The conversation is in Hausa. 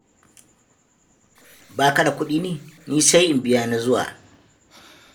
Ba ka da kuɗi ne? Ni sai in biya na zuwa.